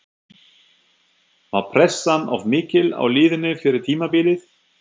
Var pressan of mikil á liðinu fyrir tímabilið?